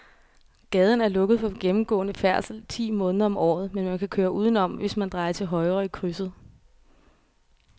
Gaden er lukket for gennemgående færdsel ti måneder om året, men man kan køre udenom, hvis man drejer til højre i krydset.